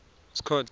scott